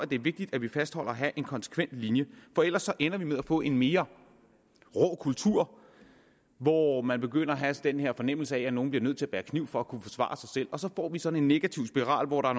det er vigtigt at vi fastholder en konsekvent linje for ellers ender vi med at få en mere rå kultur hvor man begynder at få den her fornemmelse af at nogle bliver nødt til at bære kniv for at kunne forsvare sig selv og så får vi sådan en negativ spiral hvor der